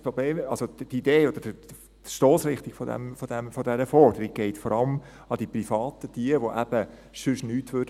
Das Problem, also die Idee oder die Stossrichtung dieser Forderung, geht vor allem an die Privaten, welche sonst nichts machen würden.